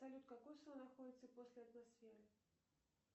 салют какой слой находится после атмосферы